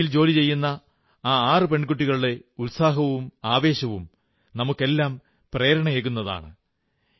നേവിയിൽ ജോലി ചെയ്യുന്ന ആ 6 പെൺകുട്ടികളുടെ ഉത്സാഹവും ആവേശവും നമുക്കെല്ലാം പ്രേരണയേകുന്നതാണ്